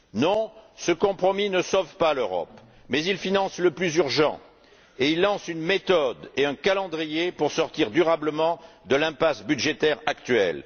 Non, ce compromis ne sauve pas l'Europe, mais il finance le plus urgent et il lance une méthode et un calendrier pour sortir durablement de l'impasse budgétaire actuelle.